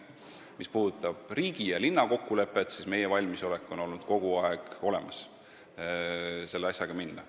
Mis puudutab riigi ja linna kokkulepet, siis meil on kogu aeg olnud valmisolek selle asjaga edasi minna.